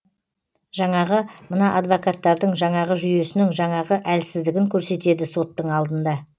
жаңағы мына адвокаттардың жаңағы жүйесінің жаңағы әлсіздігін көсетеді соттың алдында